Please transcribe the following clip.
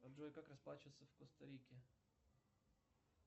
джой как расплачиваться в коста рике